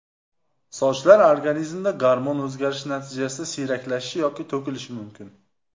Sochlar organizmda gormon o‘zgarishi natijasida siyraklashishi yoki to‘kilishi mumkin.